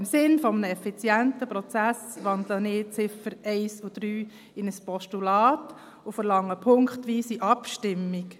Im Sinne eines effizienten Prozesses wandle ich die Ziffern 1 und 3 in ein Postulat und verlange punktweise Abstimmung.